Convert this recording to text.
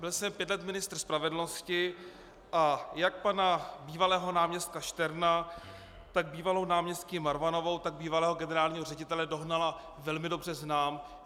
Byl jsem pět let ministrem spravedlnosti a jak pana bývalého náměstka Šterna, tak bývalou náměstkyni Marvanovou, tak bývalého generálního ředitele Dohnala velmi dobře znám.